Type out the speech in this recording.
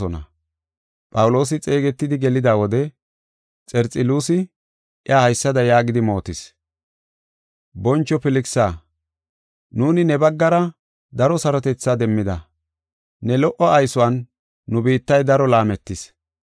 Phawuloosi xeegetidi gelida wode, Xerxeluusi iya haysada yaagidi mootis: “Boncho Filkisa, nuuni ne baggara daro sarotethaa demmida, ne lo77o aysuwan nu biittay daro laametis.